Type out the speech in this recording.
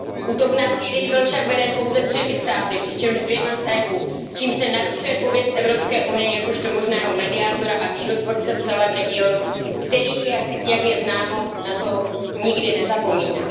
Útok na Sýrii byl však veden pouze třemi státy, přičemž dvěma z EU, čímž se narušuje pověst EU jakožto možného mediátora a mírotvorce v celém regionu, který, jak je známo, na to nikdy nezapomíná.